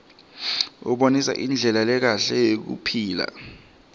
abonisa indlela lekahle yekuphila